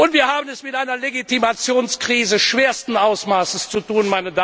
Wir haben es mit einer Legitimationskrise schwersten Ausmaßes zu tun.